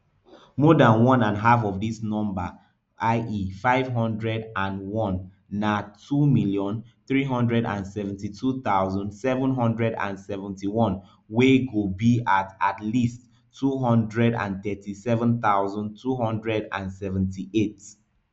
more dan one and half of dis number ie five hundred and one na two million, three hundred and seventy-two thousand, seven hundred and seventy-one wey go be at least two hundred and thirty-seven thousand, two hundred and seventy-eight voters